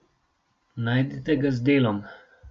Najdite ga z Delom.